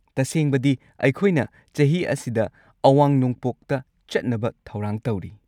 ꯇꯁꯦꯡꯕꯗꯤ, ꯑꯩꯈꯣꯏꯅ ꯆꯍꯤ ꯑꯁꯤꯗ ꯑꯋꯥꯡ-ꯅꯣꯡꯄꯣꯛꯇ ꯆꯠꯅꯕ ꯊꯧꯔꯥꯡ ꯇꯧꯔꯤ꯫